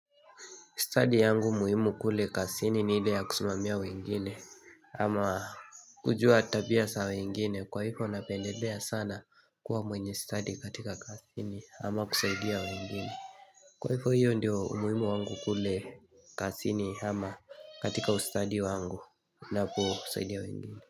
Stadi yangu muhimu kule kazini ni ile ya kusimamia wengine ama kujua tabia za wengine kwa hivo napendelea sana kuwa mwenye stadi katika kazini ama kusaidia wengine. Kwa hivo hiyo ndio umuhimu wangu kule kazini ama katika ustadi wangu ninaposaidia wengine.